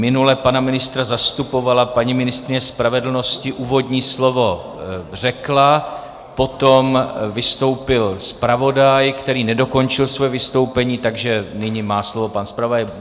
Minule pana ministra zastupovala paní ministryně spravedlnosti, úvodní slovo řekla, potom vystoupil zpravodaj, který nedokončil svoje vystoupení, takže nyní má slovo pan zpravodaj.